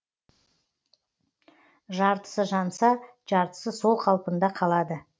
жартысы жанса жартысы сол қалпында қалады